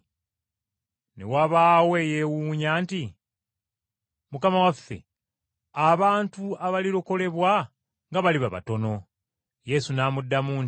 Ne wabaawo eyeewuunya nti, “Mukama waffe, abantu abalirokolebwa nga baliba batono?” Yesu n’addamu nti,